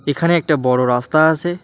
এখানে একটা বড়ো রাস্তা আসে ।